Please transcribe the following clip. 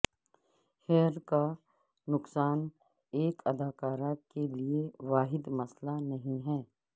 hair کا نقصان ایک اداکارہ کے لئے واحد مسئلہ نہیں ہے